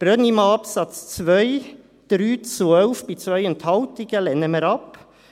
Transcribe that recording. Brönnimann, Absatz 2: 3 zu 11 bei 2 Enthaltungen, lehnen wir ab.